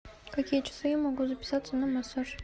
в какие часы я могу записаться на массаж